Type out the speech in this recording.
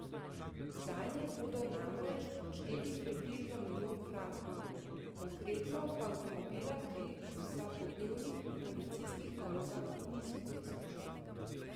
Zanje bodo namreč odšteli približno milijon frankov, konkretno pa avtomobila pri vsakodnevnih policijskih nalogah niso preizkušali.